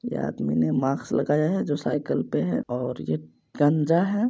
ये आदमी ने मास्क लगाया है। जो साइकल पे हैऔर ये गंजा है ।